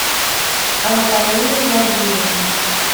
антонины владимировны